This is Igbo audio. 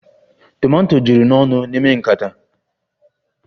Tomato juru n'ọnụ n'ime nkata